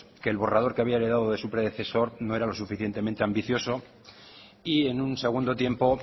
que el borrador que había heredado de su predecesor no era lo suficientemente ambicioso y en un segundo tiempo